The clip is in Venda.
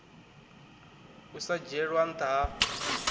u sa dzhielwa ntha ha